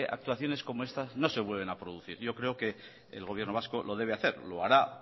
actuaciones como estas no se vuelvan a producir yo creo que el gobierno vasco lo debe hacer lo hará